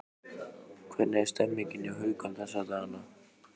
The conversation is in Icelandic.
Hvernig er stemmningin hjá Haukum þessa dagana?